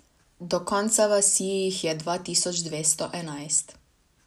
Do konca vasi jih je dva tisoč dvesto enajst.